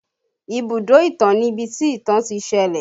Ibùdó ìtàn ni ibi tí ìtàn ti ṣẹlẹ̀